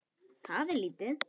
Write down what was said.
Það er lítið